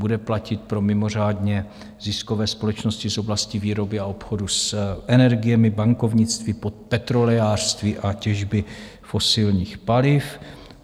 Bude platit pro mimořádně ziskové společnosti z oblasti výroby a obchodu s energiemi, bankovnictví, petrolejářství a těžby fosilních paliv.